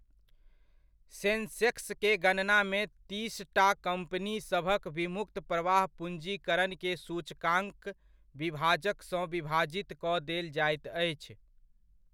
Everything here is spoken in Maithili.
सेन्सेक्स के गणनामे तीसटा कम्पनीसभक विमुक्त प्रवाह पूञ्जीकरण के सूचकांक विभाजक सँ विभाजित कऽ देल जाइत अछि।